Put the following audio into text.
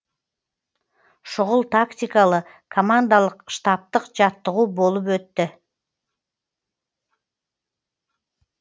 шұғыл тактикалы командалық штабтық жаттығу болып өтті